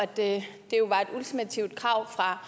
det jo var et ultimativt krav fra